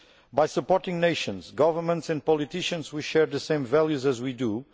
By supporting nations, governments, and politicians, we are sharing the same values as we do.